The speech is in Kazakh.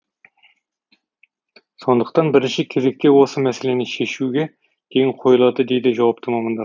сондықтан бірінші кезекте осы мәселені шешуге ден қойылады дейді жауапты мамандар